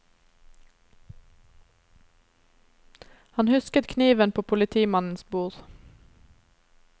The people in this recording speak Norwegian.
Han husket kniven på politimannens bord.